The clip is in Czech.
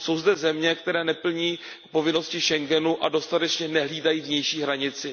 Jsou zde země, které neplní povinnosti Schengenu a dostatečně nehlídají vnější hranici.